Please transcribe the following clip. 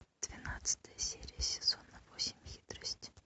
двенадцатая серия сезона восемь хитрость